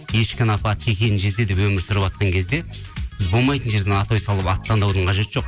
ешкіні апа текені жезде деп өмірсүріватқан кезде біз болмайтын жерден атау салып аттандаудың қажеті жоқ